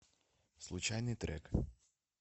случайный трек